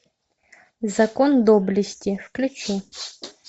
закон доблести включи